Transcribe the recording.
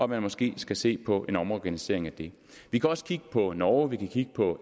man måske skal se på en omorganisering af det vi kan også kigge på norge vi kan kigge på